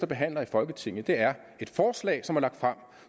behandler i folketinget er et forslag som er lagt frem og